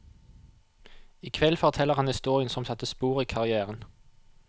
I kveld forteller han historien som satte spor i karrièren.